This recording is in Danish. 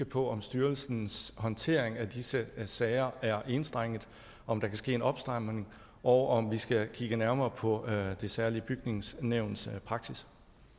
på om styrelsens håndtering af disse sager er enstrenget om der kan ske en opstramning og om vi skal kigge nærmere på det særlige bygningssyns praksis